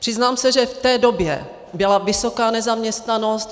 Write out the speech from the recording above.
Přiznám se, že v té době byla vysoká nezaměstnanost.